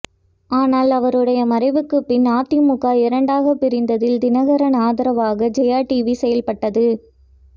ஆனால் அவருடைய மறைவுக்குப் பின் அதிமுக இரண்டாக பிரிந்ததில் தினகரன் ஆதரவாக ஜெயா டிவி செயல்பட்டது